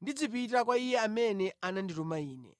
ndizipita kwa Iye amene anandituma Ine.